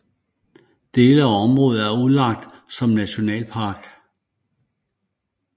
Dele af området er udlagt som nationalpark